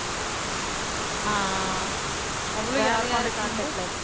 ஆஹ் அஹ் அவ்வளவுதான் வேறயாரு contact ல இல்ல